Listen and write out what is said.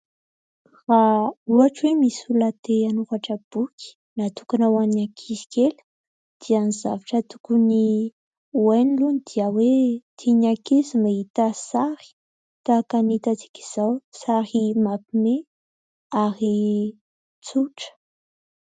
Raha ohatra hoe misy olona te hanoratra boky natokana ho an'ny ankizy kely dia ny zavatra tokony ho hainy aloha dia hoe : tian'ny ankizy ny mahita sary tahaka ny hitantsika izao : sary mampihomehy ary tsotra.